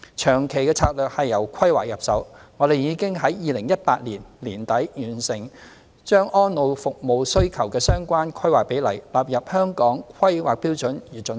長期策略是由規劃入手，我們已在2018年年底，完成把安老服務需求的相關規劃比率納入《香港規劃標準與準則》。